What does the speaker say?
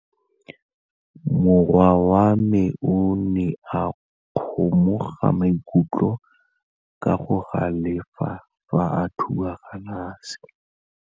Morwa wa me o ne a kgomoga maikutlo ka go galefa fa a thuba galase.